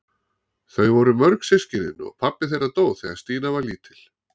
Þau voru mörg systkinin og pabbi þeirra dó þegar Stína var lítil.